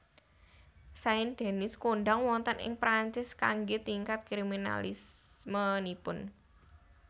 Saint Denis kondhang wonten ing Perancis kanggé tingkat kriminalismenipun